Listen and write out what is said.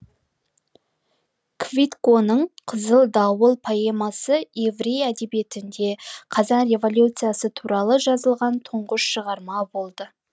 квитконың қызыл дауыл поэмасы еврей әдебиетінде қазан революциясы туралы жазылған тұңғыш шығарма болды